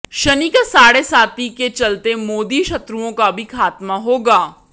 शनि का साढ़े साती के चलते मोदी शत्रुओं का भी खात्मा होगा